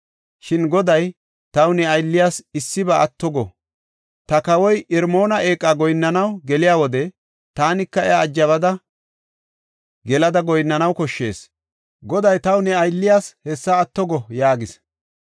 Shin Goday taw ne aylliyas issiba atto go. Ta kawoy Irmoona eeqa goyinnanaw geliya wode, taanika iya ajabada gelada goyinnanaw koshshees. Goday taw ne aylliyas hessa atto go” yaagis.